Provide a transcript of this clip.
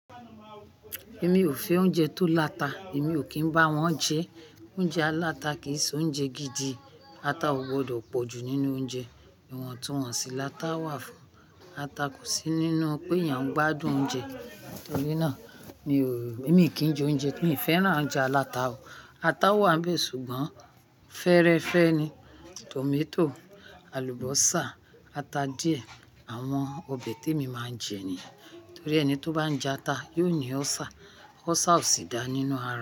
Èmi ò fẹ́ oúnjẹ tó láta, èmi ò kín bá wọn jẹ. Oúnjẹ aláta kì í ṣe oúnjẹ gidi. Ata ò gbọdọ̀ pọ̀ ju nínú oúnjẹ. Ìwọ̀n tuwọ́n ṣí láta wà fún ata kò sí nínú pé èèyàn gbádùn oúnjẹ. Nítorí náà mi ò, èmi kì í jẹ oúnjẹ mi fẹ́ràn ounje aláta o. Ata wà n be ṣùgbọ́n, fẹ́ẹ́rẹ́fẹ́ ni, tòmátò, àlùbọ́sà, ata díẹ̀, àwọn ọbẹ̀ tí èmi máa ń jẹ ni. Nítorí ẹni tó bá jẹ ata yóò ní ulcer, ulcer ò sì dá nínú ara.